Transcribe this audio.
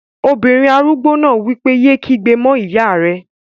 Obìnrin arúgbó náà wí pé, "yé kígbe mọ́ ìyá rẹ!"